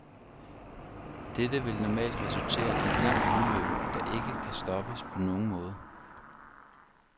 Dette vil normalt resultere i et langt udløb, der ikke kan stoppes på nogen måde.